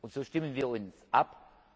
So stimmen wir uns ab.